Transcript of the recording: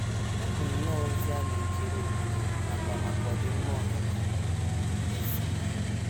Ọ bụ nnọọ ozi a na - ejere obodo nakwa maka ọdịmma ọha na eze.